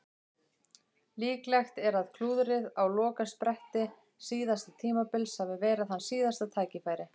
Líklegt er að klúðrið á lokaspretti síðasta tímabils hafi verið hans síðasta tækifæri.